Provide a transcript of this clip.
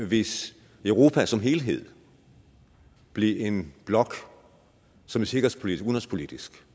hvis europa som helhed bliver en blok som sikkerhedspolitisk